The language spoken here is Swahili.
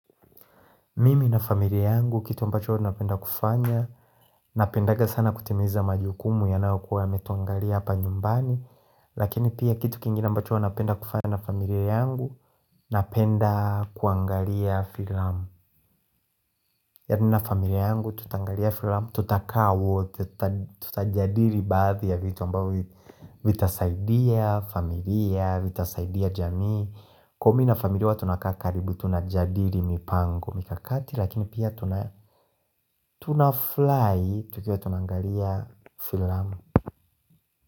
Mimi na familia yangu, kitu ambacho napenda kufanya. Napendanga sana kutimiza majukumu ya nayokua ya metuangalia hapa nyumbani. Lakini pia kitu kingine ambacho ua napenda kufanya na familia yangu Napenda kuangalia filamu Yani na familia yangu tutangalia filamu Tutakao, tutajadiri baadhi ya vitu ambao vitasaidia, familia, vitasaidia jamii. Kumi na familia wa tunakaa karibu, tunajadiri mipango mikakati lakini pia. Tunaflai tu kia tunangalia filamu.